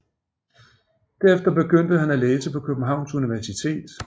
Derefter begyndte han at læse på Københavns Universitet